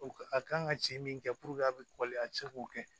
A kan ka ci min kɛ puruke a be a be se k'o kɛ